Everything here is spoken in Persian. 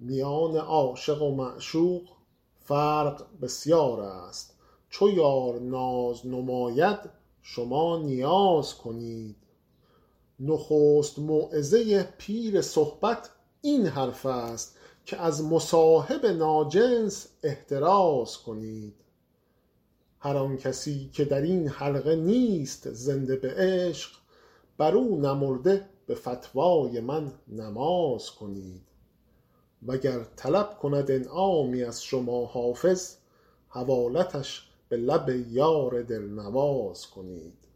میان عاشق و معشوق فرق بسیار است چو یار ناز نماید شما نیاز کنید نخست موعظه پیر صحبت این حرف است که از مصاحب ناجنس احتراز کنید هر آن کسی که در این حلقه نیست زنده به عشق بر او نمرده به فتوای من نماز کنید وگر طلب کند انعامی از شما حافظ حوالتش به لب یار دل نواز کنید